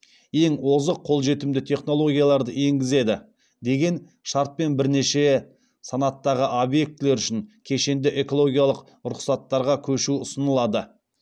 ең озық қолжетімді технологияларды енгізеді деген шартпен бірнеше санаттағы объектілер үшін кешенді экологиялық рұқсаттарға көшу ұсынылады